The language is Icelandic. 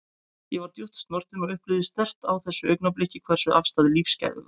Ég var djúpt snortin og upplifði sterkt á þessu augnabliki hversu afstæð lífsgæði væru.